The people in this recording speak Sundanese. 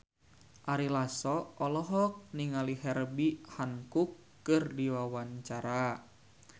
Ari Lasso olohok ningali Herbie Hancock keur diwawancara